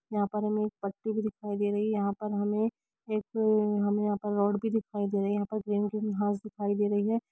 यहाँ पर एक परती भी दिखाई दे रही है यहाँ पर एक हमें एक हमें यहाँ पर रोड भी देखाई दे रही है यहाँ पर ग्रीन कलर घास दिखाई दे रही है।